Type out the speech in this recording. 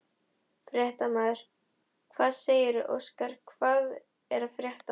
Fréttamaður: Hvað segirðu Óskar, hvað er að frétta?